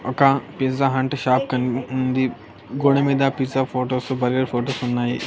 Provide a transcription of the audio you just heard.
ఒక pizza Hut shop కన్ ఉంది గోడ మీద పిజ్జా ఫోటోస్ బర్గర్ ఫోటోస్ ఉన్నాయి.